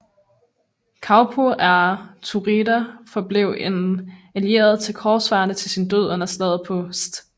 Kaupo af Turaida forblev en allieret til korsfarerne til sin død under Slaget på St